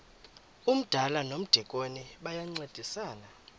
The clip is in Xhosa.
umdala nomdikoni bayancedisana